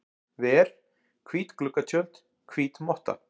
ver, hvít gluggatjöld, hvít motta.